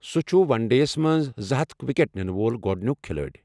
سہُ چٛھُ one day ہس منز زٕہتھَ ِوکیٹ نِنہٕ وول گوٚڈنِیوُک کھِلٲڈِ ۔